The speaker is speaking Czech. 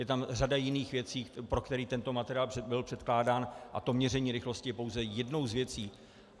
Je tam řada jiných věcí, pro který tento materiál byl předkládán, a to měření rychlosti je pouze jednou z věcí.